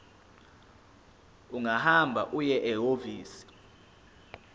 ungahamba uye ehhovisi